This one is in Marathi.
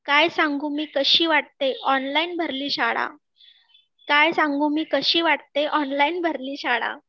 काय सांगू मी कशी वाटते ऑनलाईन भरली शाळा